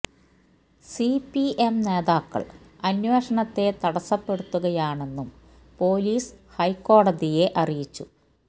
C P M നേതാക്കള് അന്വേഷണത്തെ തടസപ്പെടുത്തുകയാണെന്നും പോലീസ് ഹൈക്കോടതിയെ അറിയിച്ചു